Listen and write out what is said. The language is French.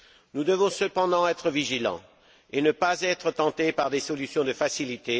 Nous devons cependant être vigilants et ne pas être tentés par des solutions de facilité.